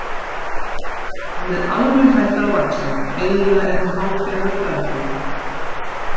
Hann er alveg hættur að vaxa, eiginlega er hann hálfgerður dvergur